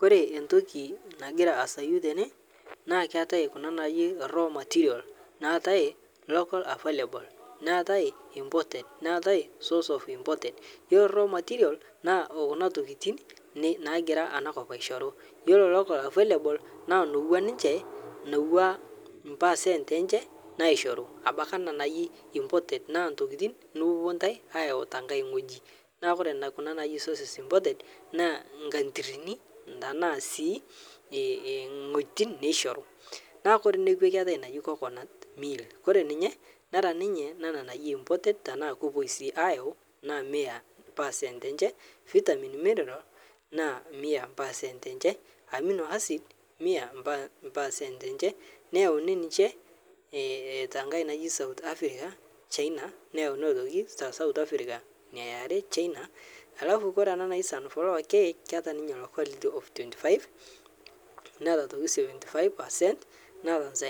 Kore entoki nagira aazayu tene naa keetae kuna naai local materials neetae local available neetae imported neetae source of imported iyiolo raw material naa kuna tokitin nagira ena kop aishoru, iyiolo local available Nas louak ninche nowua mpercent enche naishoru abaiki ana naii imported naa ntokitin nipuopuo ntae aayau tengae wueji, neeku kore nenkae naaji sources imported naa incountirini tenaa sii ingueeiitin neishoru etii naai coconut meal kore ninye nera ninye naaji imported tenaa kepoi sii aayau Mia paacent enche, vitamin mineral naa mia paacent enche ,amino acid Mia paacent enche neyauni ninche eetae enkae naji outh Africa, China neyauni aitoki alafu ore enkae naji sunflower k keeta ninye quality of 25,75 percent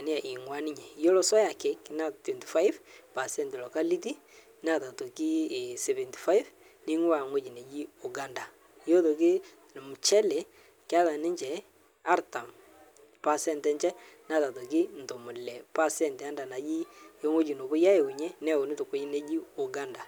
iyiolo soya cake naa twenty five paacent locality Neeta aitoki 75 nainguaa ewueji nejii Uganda. Iyiolo aitoki mchele keeya ninche artam percent enche, Neeta aitoki ntomoni Ile paasrnt enda najii nopoi ayaunye neyauni towueji naji Uganda.